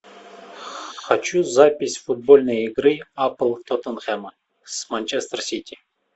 хочу запись футбольной игры апл тоттенхэма с манчестер сити